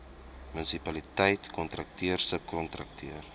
munisipaliteit kontrakteur subkontrakteur